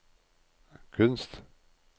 kunst